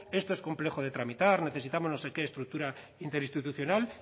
esto es complejo de tramitar necesitamos no sé qué estructura interinstitucional